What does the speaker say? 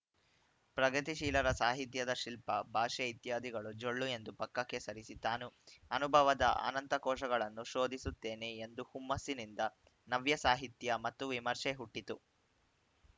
ಪ್ರಗತಿಶೀಲರ ಸಾಹಿತ್ಯದ ಶಿಲ್ಪ ಭಾಷೆ ಇತ್ಯಾದಿಗಳು ಜೊಳ್ಳು ಎಂದು ಪಕ್ಕಕ್ಕೆ ಸರಿಸಿ ತಾನು ಅನುಭವದ ಆ ನಂತಕೋಶಗಳನ್ನು ಶೋಧಿಸುತ್ತೇನೆ ಎಂದು ಹುಮ್ಮಸ್ಸಿನಿಂದ ನವ್ಯ ಸಾಹಿತ್ಯ ಮತ್ತು ವಿಮರ್ಶೆ ಹುಟ್ಟಿತು